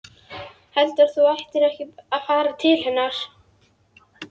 Heldurðu að þú ættir ekki að fara til hennar?